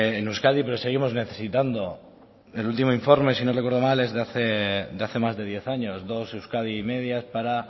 en euskadi pero seguimos necesitando el último informe sino recuerdo mal es de hace más de diez años dos euskadi y medidas para